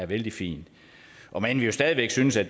vældig fint om end vi jo stadig væk synes at